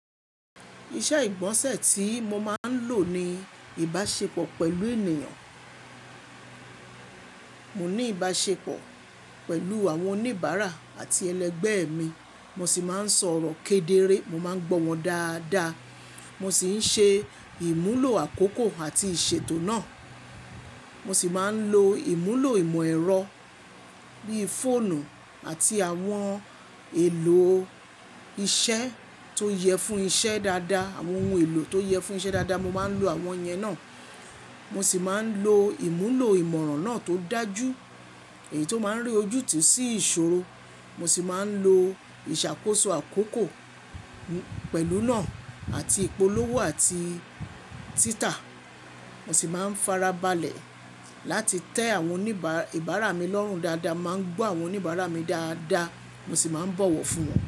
Iṣẹ́ ìgbọ̀nsẹ̀ tí mo máa ń lò ni ìbáṣepọ̀ pẹ̀lú ènìyàn. Mò ní ìbáṣepọ̀ pẹ̀lú àwọn oníbàárà àti ẹlẹgbẹ́ mi. Mo sì máa ń sọ̀rọ̀ kedere, mo máa ń gbọ́ wọn dáadáa. Mo sì ń ṣe ìmúlò àkókò àti ìṣètò náà. Mo sì máa ń lo ìmúlò ìmọ̀ ẹ̀rọ bí i fóònù àti àwọn ohun èlò iṣẹ́ tó yẹ fún iṣẹ́ dáadáa. Àwọn ohun èlò tó yẹ fún iṣẹ́ dáadáa, mo máa ń lo àwọn yẹn náà. Mo sì máa ń lo ìmúlò ìmọ̀ràn náà tó dájú èyí tó máa ń rí ojútì sí ìṣòro. Mo sì máa ń lo ìṣàkóso àkókò pẹ̀lú náà àti ìpolówó àti títa. Mo sì máa ń farabalẹ̀ láti tẹ àwọn oníbàárà mi lọ́rùn dáadáa, máa ń gbọ́ àwọn oníbàárà mi dáadáa, mo sì máa ń bọ̀wọ̀ fún wọn.